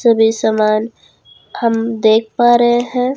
सभी सामान हम देख पा रहे हैं।